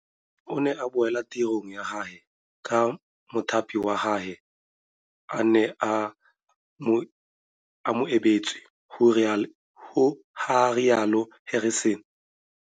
O ne a boela tirong ya gagwe ka mothapi wa gagwe a ne a mo e beetse, ga rialo Harrison.